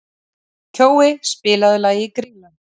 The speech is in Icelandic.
Kjói, spilaðu lagið „Grýla“.